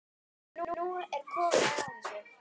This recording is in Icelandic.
Nú er komið að þessu.